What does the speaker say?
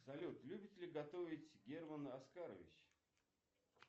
салют любит ли готовить герман оскарович